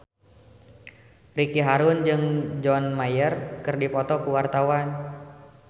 Ricky Harun jeung John Mayer keur dipoto ku wartawan